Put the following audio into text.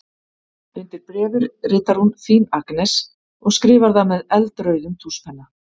Undir bréfið ritar hún: Þín Agnes og skrifar það með eldrauðum tússpenna.